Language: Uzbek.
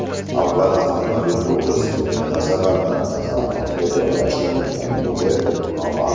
Avval avtomobil o‘g‘risining nima sababdan kasalxonaga joylashtirilganligi noma’lum.